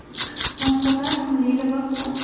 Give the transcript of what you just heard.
Mashhurlar milliy libosda .